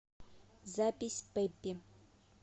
запись пеппи